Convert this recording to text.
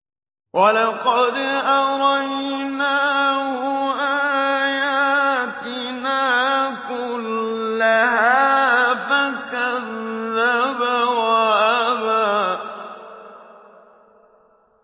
وَلَقَدْ أَرَيْنَاهُ آيَاتِنَا كُلَّهَا فَكَذَّبَ وَأَبَىٰ